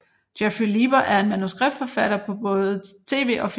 Jeffrey Lieber er en manuskriptforfatter for både tv og film